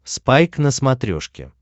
спайк на смотрешке